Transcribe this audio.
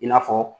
I n'a fɔ